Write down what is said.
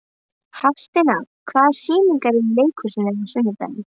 Hafsteina, hvaða sýningar eru í leikhúsinu á sunnudaginn?